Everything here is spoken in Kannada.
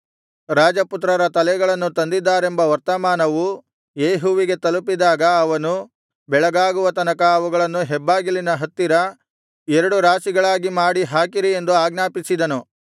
ರಾಜಪುತ್ರರ ತಲೆಗಳನ್ನು ತಂದಿದ್ದಾರೆಂಬ ವರ್ತಮಾನವು ಯೇಹುವಿಗೆ ತಲುಪಿದಾಗ ಅವನು ಬೆಳಗಾಗುವ ತನಕ ಅವುಗಳನ್ನು ಹೆಬ್ಬಾಗಿಲಿನ ಹತ್ತಿರ ಎರಡು ರಾಶಿಗಳಾಗಿ ಮಾಡಿ ಹಾಕಿರಿ ಎಂದು ಆಜ್ಞಾಪಿಸಿದನು